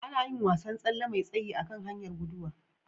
Ana yin wasan tsalle mai sayi a kan hanyar guduwa.